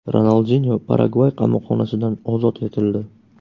Ronaldinyo Paragvay qamoqxonasidan ozod etildi.